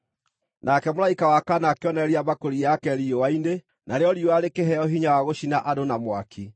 Nake mũraika wa kana akĩonoreria mbakũri yake riũa-inĩ, narĩo riũa rĩkĩheo hinya wa gũcina andũ na mwaki.